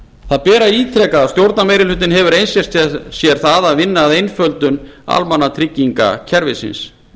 það ber að ítreka að stjórnarmeirihlutinn hefur einsett sér að vinna að einföldun almannatryggingakerfisins